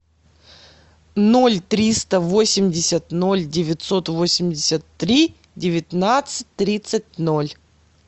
ноль триста восемьдесят ноль девятьсот восемьдесят три девятнадцать тридцать ноль